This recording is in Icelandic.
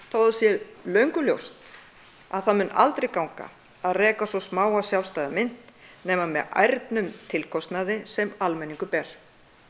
þó það sé löngu ljóst að það mun aldrei ganga að reka svo smáa sjálfstæða mynt nema með ærnum tilkostnaði sem almenningur ber